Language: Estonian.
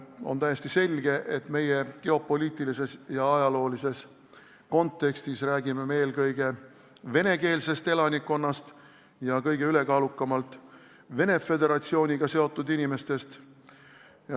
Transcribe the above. On täiesti selge, et meie geopoliitilises ja ajaloolises kontekstis on jutt eelkõige venekeelsest elanikkonnast ja kõige ülekaalukamalt Venemaa Föderatsiooniga seotud inimestest.